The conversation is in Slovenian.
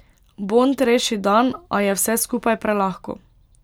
Bond reši dan, a je vse skupaj prelahko ...